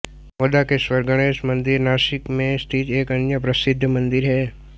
मोदाकेश्वर गणेश मंदिर नाशिक में स्थित एक अन्य प्रसिद्ध मंदिर है